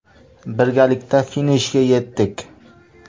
Birgalikda finishga yetdik.